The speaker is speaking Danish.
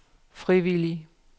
frivillige